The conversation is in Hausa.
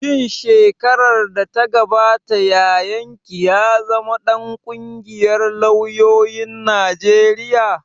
Shin shekarar da ta gabata yayan ki ya zama ɗan ƙungiyar lauyoyin Najeriya